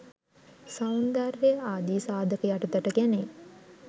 සෞන්දර්ය ආදී සාධක යටතට ගැනේ.